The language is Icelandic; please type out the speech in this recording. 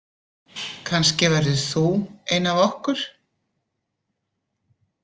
Kannski verður þú ein af okkur.